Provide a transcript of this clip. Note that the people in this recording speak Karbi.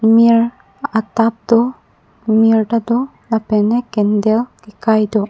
mir a tab do mir tado lapen ke candle ke kai do.